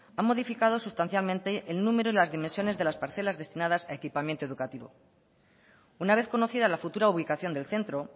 han modificado sustancialmente el número en las dimensiones de las parcelas destinadas a equipamiento educativo una vez conocida la futura ubicación del centro